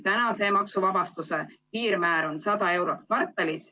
Maksuvabastuse piirmäär on 100 eurot kvartalis.